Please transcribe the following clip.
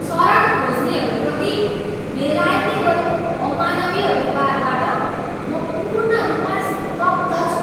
शरण खोज्नेहरूप्रति बेलायतले गरेको अमानवीय व्यवहारबाट म पूर्ण रूपमा स्तब्ध छु।